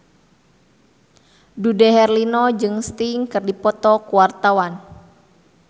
Dude Herlino jeung Sting keur dipoto ku wartawan